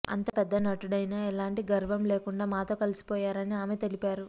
అంత పెద్ద నటుడైనా ఎలాంటి గర్వం లేకుండా మాతో కలిసిపోయారని ఆమె తెలిపారు